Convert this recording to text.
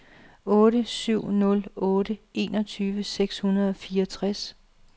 otte syv nul otte enogtyve seks hundrede og fireogtres